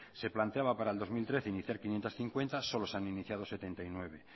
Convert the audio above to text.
se planteaba para el dos mil trece iniciar quinientos cincuenta solo se han iniciado setenta y nueve